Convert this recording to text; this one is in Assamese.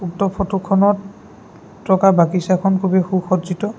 উক্ত ফটোখনত থকা বাগিচাখন খুবেই সু-সজ্জিত।